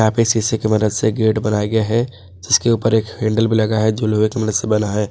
पे शीशे की मदद से गेट बनाए गया है जिसके ऊपर एक हैंडल भी लगा है जो लोहे की मदद बना है।